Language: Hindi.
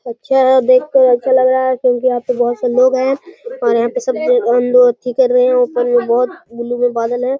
अच्छा है देखकर अच्छा लग रहा है क्योंकि यहाँ पर बहोत से लोग हैं और यहाँ पर सब लोग कर रहे है। ऊपर में बोहत बादल हैं।